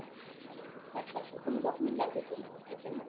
আচ্ছা আচ্ছা, কোনো document লাগবে কী এর জন্যে?